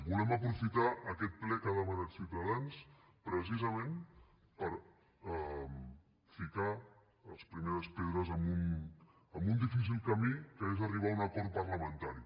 volem aprofitar aquest ple que ha demanat ciutadans precisament per ficar les primeres pedres en un difícil camí que és arribar a un acord parlamentari